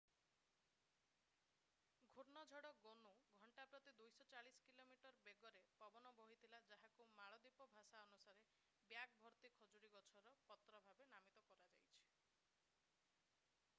ଘୂର୍ଣ୍ଣଝଡ଼ ଗୋନୁ ଘଣ୍ଟା ପ୍ରତି 240 କିଲୋମିଟର ବେଗରେ ପବନ ବୋହିଥିଲା ଘଣ୍ଟା ପ୍ରତି 149 ମାଇଲ୍. ଯାହାକୁ ମାଳଦ୍ୱୀପ ଭାଷା ଅନୁସାରେ ବ୍ୟାଗ ଭର୍ତ୍ତି ଖଜୁରୀ ଗଛର ପତ୍ର ଭାବେ ନାମିତ କରାଯାଇଛି।